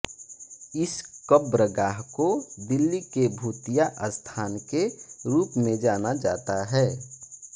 इस कब्रगाह को दिल्ली के भूतिया स्थान के रूप में जाना जाता है